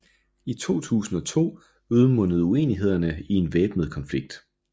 I 2002 udmundede uenighederne i en væbnet konflikt